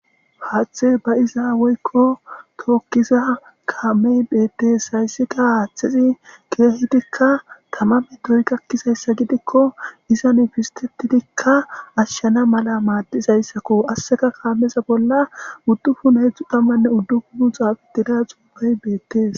Haaththe ba iza woykko tookkiza kaamey beettees hayssika haaththesi keehidikka tamame doy gakkizayssa gidikko izan fistetidikka ashshana mala maaddizayssakko asseka kaameza bolla uddufunheezxu tammanne uddukunu xaafetida xuubey beettees.